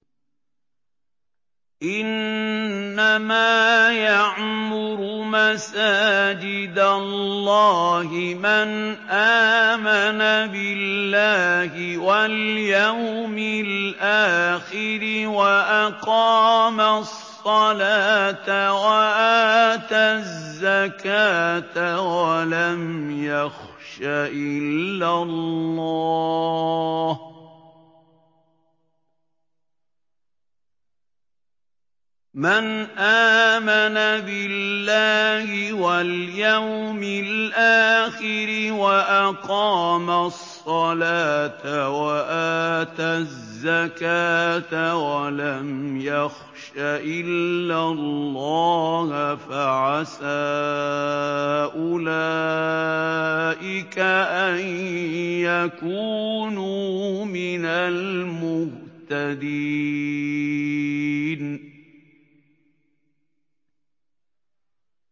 إِنَّمَا يَعْمُرُ مَسَاجِدَ اللَّهِ مَنْ آمَنَ بِاللَّهِ وَالْيَوْمِ الْآخِرِ وَأَقَامَ الصَّلَاةَ وَآتَى الزَّكَاةَ وَلَمْ يَخْشَ إِلَّا اللَّهَ ۖ فَعَسَىٰ أُولَٰئِكَ أَن يَكُونُوا مِنَ الْمُهْتَدِينَ